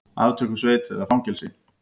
Aftökusveit eða fangelsi?